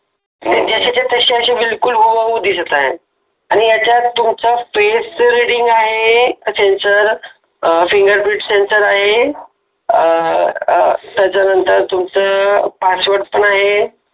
म्हणजे जसेच्या तसे बिलकुल असे हुबेहूब दिसत आहे आणि याच्यात तुमचा फेस रिडींग सेन्सर आहे त्यानंतर फिंगरप्रिंट सेन्सर आहे त्याच्यानंतर तुमचं पासवर्ड पण आहे.